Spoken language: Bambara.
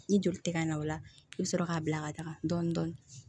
Ni joli tɛ ka na o la i bɛ sɔrɔ k'a bila ka taga dɔɔnin dɔɔnin